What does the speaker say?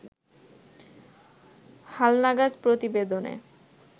হালনাগাদ প্রতিবেদনে